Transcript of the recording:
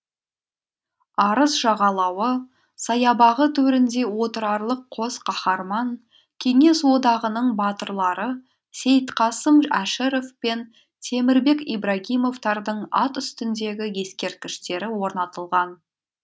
арыс жағалауы саябағы төрінде отырарлық қос қаһарман кеңес одағының батырлары сейітқасым әшіров пен темірбек ибрагимовтардың ат үстіндегі ескерткіштері орнатылған